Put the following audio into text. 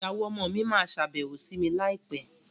Ìyàwó ọmọ mi máa sábẹ́wó sí mi láì pé